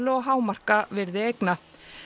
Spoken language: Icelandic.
og hámarka virði eigna